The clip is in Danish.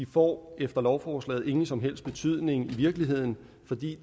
får efter lovforslaget ingen som helst betydning i virkeligheden fordi